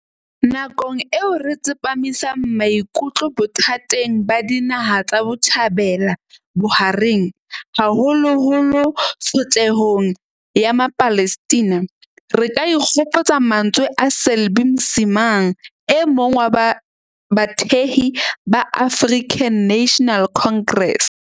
Nakong eo re tsepamisang maikutlo bothateng ba Dinaha tsa Botjhabela bo Bohareng, haholoholo tsho tlehong ya Mapalestina, re ka ikgopotsa mantswe a Selby Msimang, e mong wa bathehi ba African National Congress.